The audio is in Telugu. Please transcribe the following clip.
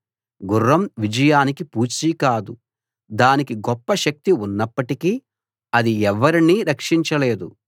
గుర్రం విజయానికి పూచీ కాదు దానికి గొప్ప శక్తి ఉన్నప్పటికీ అది ఎవర్నీ రక్షించలేదు